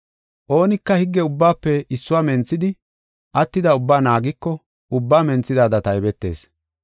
Oonika higge ubbaafe issuwa menthidi, attida ubbaa naagiko ubbaa menthidaada taybetees.